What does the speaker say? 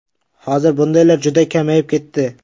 Hozir bundaylar juda kamayib ketdi.